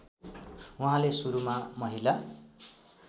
उहाँले सुरुमा महिला